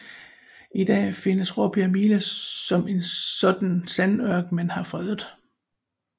I dag findes Råbjerg Mile som en sådan sandørken man har fredet